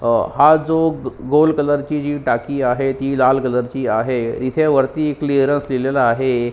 अह हा जो गोल कलर ची टाकी आहे ती लाल कलर ची आहे इथे वरती क्लिअरन्स लिहीलेल आहे.